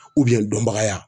dɔnbaga ya.